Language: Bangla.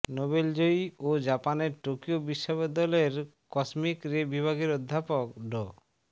নোবেলজয়ী ও জাপানের টোকিও বিশ্ববিদ্যালয়ের কসমিক রে বিভাগের অধ্যাপক ড